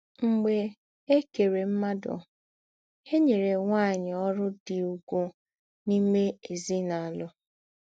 Mḡbè è kèrè mmádụ, è nyèrè nwányị̀ ọ́rụ̀ dị ùgwù n’ìmé èzínàlụ́.